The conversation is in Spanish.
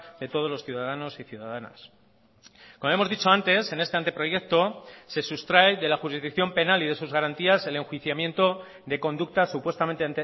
de todos los ciudadanos y ciudadanas como hemos dicho antes en este anteproyecto se sustrae de la jurisdicción penal y de sus garantías el enjuiciamiento de conductas supuestamente